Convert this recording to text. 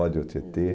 Ódio ao Tietê